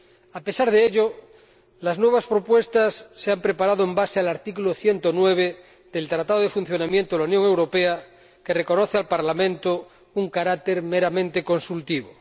A pesar de ello, las nuevas propuestas se han preparado sobre la base del artículo 109 del Tratado de Funcionamiento de la Unión Europea, que reconoce al Parlamento un carácter meramente consultivo.